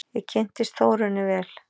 Ég kynntist Þórunni vel.